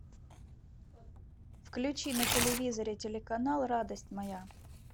включи на телевизоре телеканал радость моя